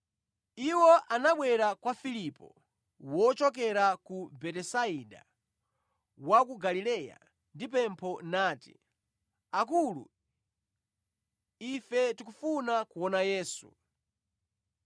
Iwo anabwera kwa Filipo, wochokera ku Betisaida wa ku Galileya, ndi pempho, nati, “Akulu, ife tikufuna kuona Yesu.”